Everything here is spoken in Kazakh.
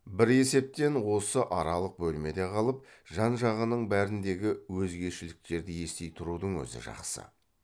бір есептен осы аралық бөлмеде қалып жан жағының бәріндегі өзгешеліктерді ести тұрудың өзі жақсы